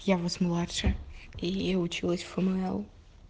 я вас младше и училась в фмл